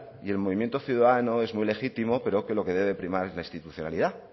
y el movimiento ciudadano es muy legítimo pero lo que debe de primar es la institucionalidad